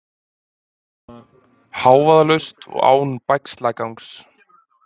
Hávaðalaust og án bægslagangs.